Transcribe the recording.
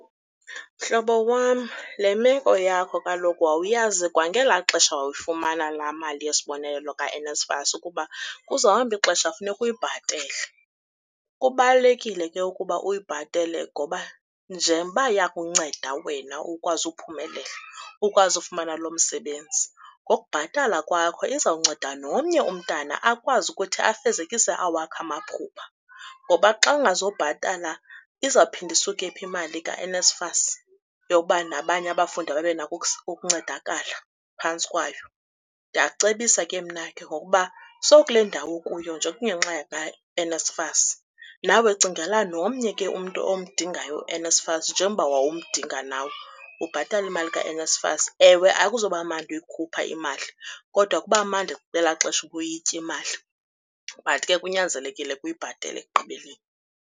Mhlobo wam, le meko yakho kaloku wawuyazi kwangelaa xesha wawufumana laa mali yesibonelelo kaNSFAS ukuba kuzawuhamba ixesha kufuneke uyibhatele. Kubalulekile ke ukuba uyibhatele ngoba njengoba yakunceda wena ukwazi ukuphumelela, ukwazi ukufumana lo msebenzi, ngokubhatala kwakho izawunceda nomnye umntana akwazi ukuthi afezekise awakhe amaphupha. Ngoba xa ungazobhatala izawuphinda isuke phi imali kaNSFAS yokuba nabanye abafundi babe nako ukuncedakala phantsi kwayo? Ndiya kucebisa ke mnake ngokuba sowukule ndawo ukuyo nje kungenxa kaNSFAS, nawe cingela nomnye ke umntu omdingayo uNSFAS njengoba wawumdinga nawe ubhatale imali kaNSFAS. Ewe, akuzoba mnandi uyikhupha imali kodwa kuba mandi ngelaa xesha ubuyitya imali. But ke kunyanzelekile uyibhatale ekugqibeleni.